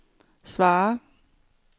svar